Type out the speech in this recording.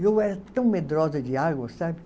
Eu era tão medrosa de água, sabe?